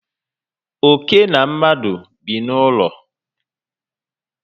Óké na mmadụ bi n'ụlọ